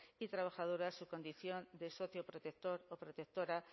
y trabajadoras su condición de socio protector o protectora